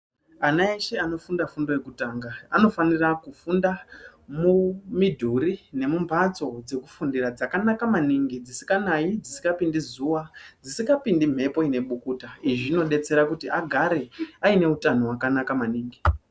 Ana eshe anofunda fundo yekutanga anofanira kufunda mumidhuri nemumhatso dzekufundira dzakanaka maningi dzisikanayi dzisikapindi zuwa dzisikapindi mhepo ine bukuta izvi zvinodetsera kuti agare aine utano hwakanaka maningi .